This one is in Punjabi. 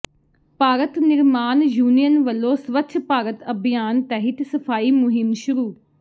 ਭਾਰਤ ਨਿਰਮਾਣ ਯੂਨੀਅਨ ਵਲੋਂ ਸਵੱਛ ਭਾਰਤ ਅਭਿਆਨ ਤਹਿਤ ਸਫ਼ਾਈ ਮੁਹਿੰਮ ਸ਼ੁਰੂ